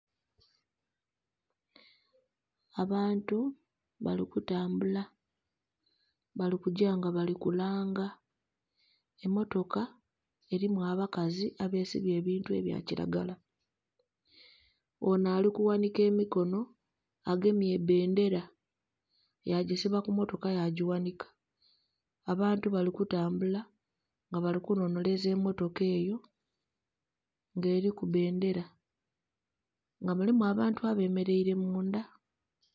Abantu bali kutambula bali kugya nga bali kulanga emotoka elimu abakazi abesibye ebintu ebyakilagala, ono alikughanhika emikono agemye ebbendera yagyisiba kumotaka yagyighanhika abantu bali kutambula nga bali kunhonheleza emotoka eyo nga eliku bendera nga elimu abantu abemeleire munda